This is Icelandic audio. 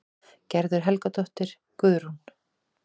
Gerður Helgadóttir, Guðrún